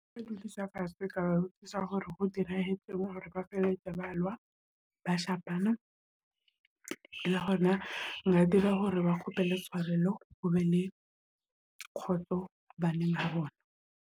Nka ba dulisa fatshe ka botsisa hore ho dirahetseng hore ba feletse ba lwa ba shapana le hona nka dira hore ba kgopela tshwarelo, o be le kgotso baneng ba bona.